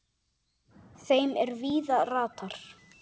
þeim er víða ratar